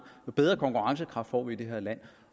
jo bedre konkurrencekraft får vi i det her land